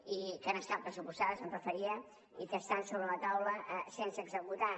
que han estat pressupostades em referia i que estan sobre la taula sense executar